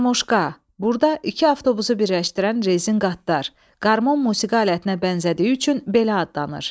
Qarmoşka, burda iki avtobusu birləşdirən rezin qatdar, qarmon musiqi alətinə bənzədiyi üçün belə adlanır.